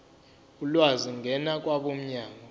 ulwazi ngena kwabomnyango